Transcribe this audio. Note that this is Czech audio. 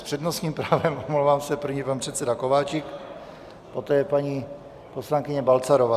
S přednostním právem, omlouvám se, první pan předseda Kováčik, poté paní poslankyně Balcarová.